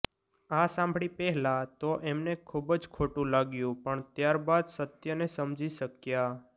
આ સાંભળી પહેલાં તો એમને ખૂબ જ ખોટું લાગ્યું પણ ત્યાર બાદ સત્યને સમજી શકયા